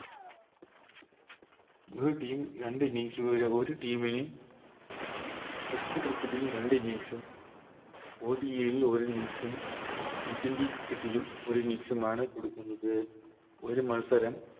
ഒര് Team രണ്ട് Innings കളിലെ ഒര് Team ന് Test cricket ൽ രണ്ട് Innings ഉം ഒര് Innings ഉം T twenty cricket ലും ഒര് Innings മാണ് കൊടുക്കുന്നത് ഒരു മത്സരം